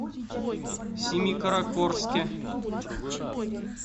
семикаракорске